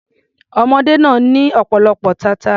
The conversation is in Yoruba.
Ọmọ ọdẹ náà ní ọ̀pọ̀lọpọ̀ tata.